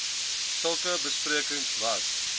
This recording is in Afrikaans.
sulke besprekings was